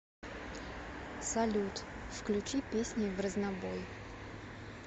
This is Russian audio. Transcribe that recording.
салют включи песни в разнобой